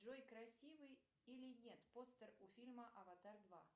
джой красивый или нет постер у фильма аватар два